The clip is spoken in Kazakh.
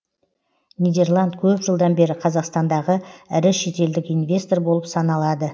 нидерланд көп жылдан бері қазақстандағы ірі шетелдік инвестор болып саналады